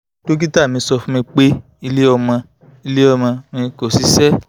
dokita mi sọ fun mi pe ile omo ile omo mi ko ṣiṣẹ